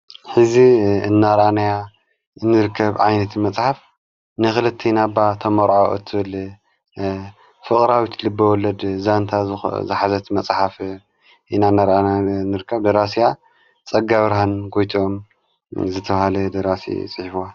ሕዚ እናርኣናያ እንርከብ ዓይነቲ መጽሓፍ ንኽልተ ኢናባ ተመርዖ እትበል ፍቕራዊት ልበወለድ ዛንታ ዝኃዘት መጽሓፍ ኢና ናርኣና እንርከብ ደራስያ ጸጋብርሃን ጐይትኦም ዝተብሃለ ደራሲ ጽሒፍዋ።